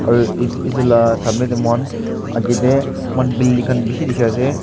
aro et etu la moihan akete moihan building khan beshe dekhe ase.